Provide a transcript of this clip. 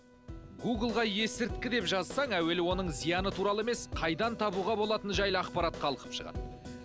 гуглға есірткі деп жазсаң алдымен оның зияны емес қайдан табуға болатыны жайлы ақпарат қалқып шығады